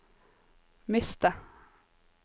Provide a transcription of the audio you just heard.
miste